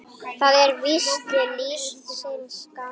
Það er víst lífsins gangur.